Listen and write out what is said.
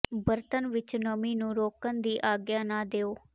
ਬਰਤਨ ਵਿਚ ਨਮੀ ਨੂੰ ਰੋਕਣ ਦੀ ਆਗਿਆ ਨਾ ਦਿਓ